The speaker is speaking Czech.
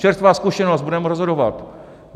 Čerstvá zkušenost, budeme rozhodovat.